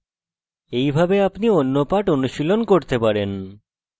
এইভাবে আপনি অন্য পাঠ অনুশীলণ করতে পারেন